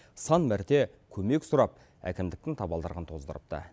сан мәрте көмек сұрап әкімдіктің табалдырығын тоздырыпты